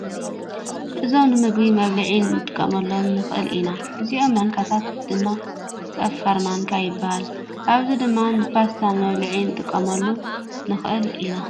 እዞም ንምግቢ መብልዒ ክንጥቀመሎም ንክእል ኢና። እዞም ማንካታት ድማ ፀፋረ ማንካ ይባሃል። ኣብዛሓ ድማ ንፓስታ ንመብልዒ ክንጥቀመሉ ንክእል ኢና ።